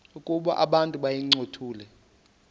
ukuba abantu bayincothule